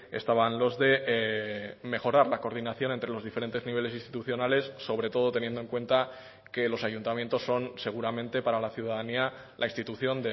estaban los de mejorar la coordinación entre los diferentes niveles institucionales sobre todo teniendo en cuenta que los ayuntamientos son seguramente para la ciudadanía la institución